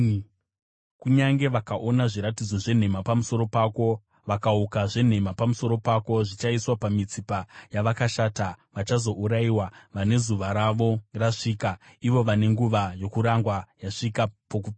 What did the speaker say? Kunyange vakaona zviratidzo zvenhema pamusoro pako, vakavuka zvenhema pamusoro pako, zvichaiswa pamitsipa yavakaipa vachazourayiwa, vane zuva ravo rasvika, ivo vane nguva yokurangwa yasvika pokupedzisira.